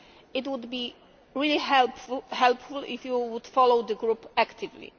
It would be really helpful if you would follow the group actively.